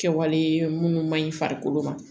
Kɛwale munnu ma ɲi farikolo ma